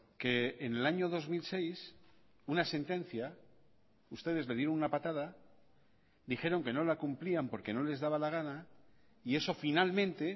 que en el año dos mil seis una sentencia ustedes le dieron una patada dijeron que no la cumplían porque no les daba la gana y eso finalmente